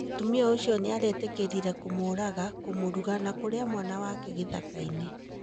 Mũtumia ũcio niaretĩkĩrire kũmũraga, kũmuruga na kũrĩa mwana wake gĩthaka-inĩ.